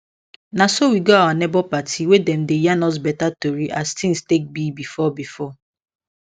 naso we go our neighbor party wey dem yan us beta tori as things take be before before